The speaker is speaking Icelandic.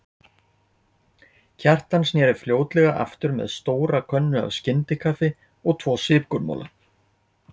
Kjartan sneri fljótlega aftur með stóra könnu af skyndikaffi og tvo sykurmola.